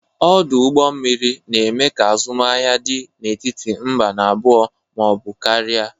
Ọdụ ụgbọ mmiri na-eme ka azụmahịa dị n'etiti mba n'abụọ ma ọ bụ karịa.